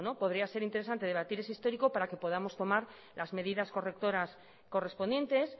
podría ser interesante debatir ese histórico para que podamos tomar las medidas correctoras correspondientes